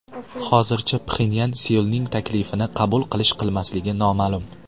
Hozircha Pxenyan Seulning taklifini qabul qilish-qilmasligi noma’lum.